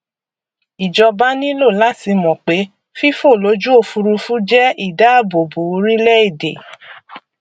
ìjọba nílò láti mọ pé fífòlójúòfurufú jẹ ìdáàbòbò orílẹèdè